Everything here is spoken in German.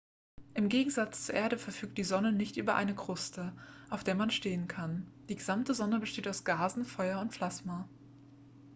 im gegensatz zur erde verfügt die sonne nicht über eine kruste auf der man stehen kann die gesamte sonne besteht aus gasen feuer und plasma